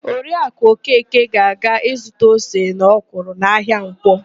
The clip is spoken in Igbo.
Oriakụ Okeke ga-aga ịzụta ose na ọkwụrụ n'ahịa Nkwọ.